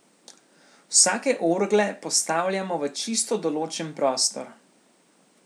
Vsake orgle postavljamo v čisto določen prostor.